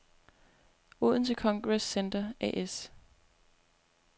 Odense Congress Center A/S